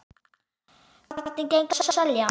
Hvernig gengur að selja?